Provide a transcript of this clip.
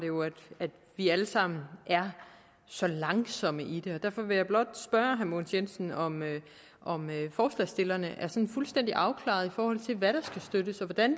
vi alle sammen er så langsomme i det og derfor vil jeg blot spørge herre mogens jensen om forslagsstillerne er sådan fuldstændig afklarede i forhold til hvad der skal støttes og hvordan